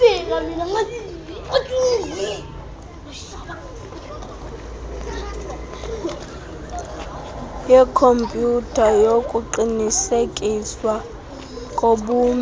yekhompyutha yokuqinisekiswa kobume